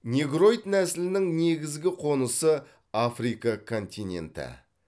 негроид нәсілінің негізгі қонысы африка континенті